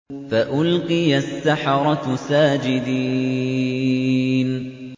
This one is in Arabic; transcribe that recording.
فَأُلْقِيَ السَّحَرَةُ سَاجِدِينَ